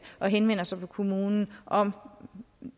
og henvender sig til kommunen om